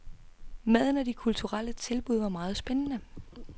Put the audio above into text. Maden og de kulturelle tilbud var meget spændende.